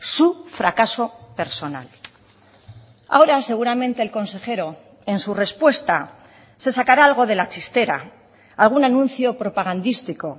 su fracaso personal ahora seguramente el consejero en su respuesta se sacará algo de la chistera algún anuncio propagandístico